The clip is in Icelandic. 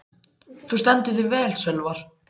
Þú stendur þig vel, Sölvar!